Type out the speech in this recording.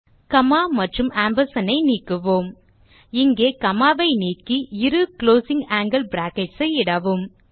gamma மற்றும் amp ஐ நீக்குவோம் இங்கே காமா ஐ நீக்கி இரு குளோசிங் ஆங்கில் பிராக்கெட்ஸ் ஐ இடவும்